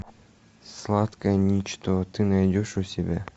сладкое ничто ты найдешь у себя